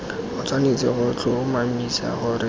o tshwanetse go tlhomamisa gore